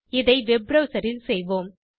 இதை web browser இல் செய்வோம்